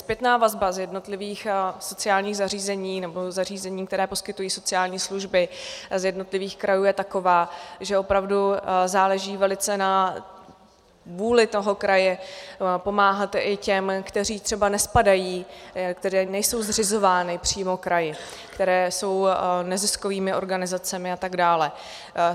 Zpětná vazba z jednotlivých sociálních zařízení nebo zařízení, která poskytují sociální služby, z jednotlivých krajů je taková, že opravdu záleží velice na vůli toho kraje pomáhat i těm, kteří třeba nespadají, které nejsou zřizovány přímo kraji, které jsou neziskovými organizacemi atd.